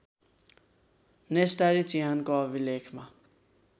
नेस्टारी चिहानको अभिलेखमा